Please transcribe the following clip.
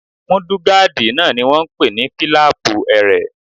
Múdúgáàdì náà ni wọ́n n pè ní fílàpù ẹrẹ̀